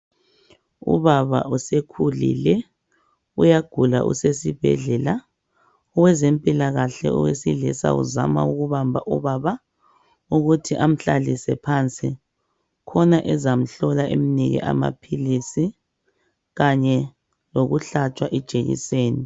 Ubaba usekhulile uyagula usesibhedlela owezempilakahle owesilisa uzama ukubamba ubaba emhlalise phansi khona ezamhlola emnike amaphilisi kanye lokuhlaatshwa ijekiseni.